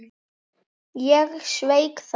Ég sveik það.